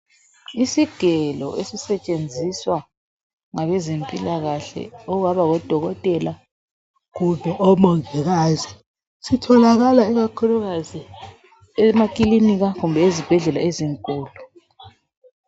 Isigelo ezisetshenziswa ngabe zempilakahle okungaba ngudokotela kumbe omongikazi sitholakala emaphamacy emaclinikhi kumbe ezibhedlela ezinkulu